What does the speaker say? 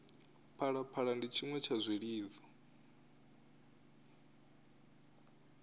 phalaphala ndi tshiṅwe tsha zwilidzo